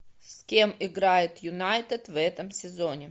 с кем играет юнайтед в этом сезоне